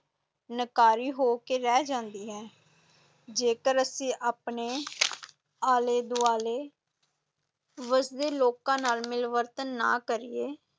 ਨਕਾਰੀ ਹੋ ਕੇ ਰਹਿ ਜਾਂਦੀ ਹੈ, ਜੇਕਰ ਅਸੀਂ ਆਪਣੇ ਆਲੇ ਦੁਆਲੇ ਵਸਦੇ ਲੋਕਾਂ ਨਾਲ ਮਿਲਵਰਤਨ ਨਾ ਕਰੀਏ